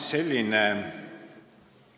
Selline